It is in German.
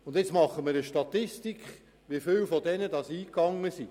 Nun führen wir eine Statistik darüber, wie viele davon eingegangen sind.